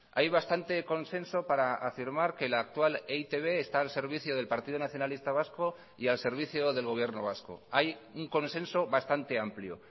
hay bastante consenso para afirmar que la actual e i te be está al servicio del partido nacionalista vasco y al servicio del gobierno vasco hay un consenso bastante amplio